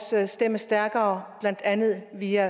stemme stærkere blandt andet via